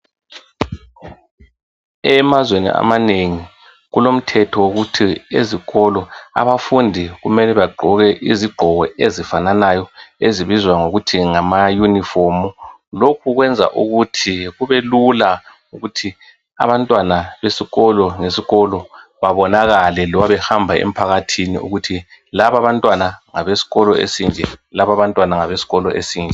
Emazweni amanengi, kulomthetho wokuthi ,ezikolo, abafundi kumele bagqoke izigqoko ezifananayo. Ezibizwa ngokuthi ngama uniform. Lokhu kwenza kubelula, ukuthi abantwana besikolo ngesikolo babonakale loba behamba emphakathini. Ukuthi laba abantwana, ngabesikolo esinje. Laba abantwana ngabesikolo esinje.